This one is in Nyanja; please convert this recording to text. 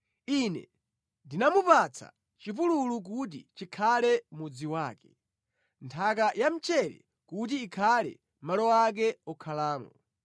Ine ndinamupatsa chipululu kuti chikhale mudzi wake, nthaka ya mchere kuti ikhale malo ake okhalamo